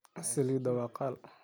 Saliidha waa kaal.